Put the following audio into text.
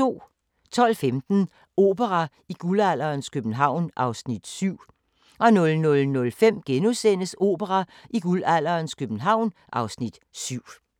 12:15: Opera i guldalderens København (Afs. 7) 00:05: Opera i guldalderens København (Afs. 7)*